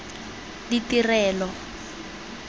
ditirelo